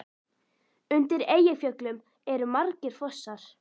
Undir Eyjafjöllum eru margir fossar.